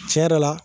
Tiɲɛ yɛrɛ la